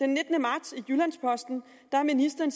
nittende marts er ministeren